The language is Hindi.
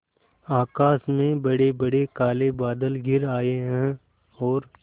आकाश में बड़ेबड़े काले बादल घिर आए हैं और